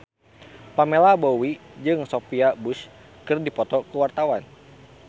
Pamela Bowie jeung Sophia Bush keur dipoto ku wartawan